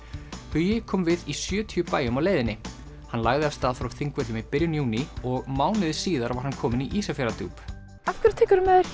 hugi kom við í sjötíu bæjum á leiðinni hann lagði af stað frá Þingvöllum í byrjun júní og mánuði síðar var hann kominn í Ísafjarðardjúp af hverju tekurðu með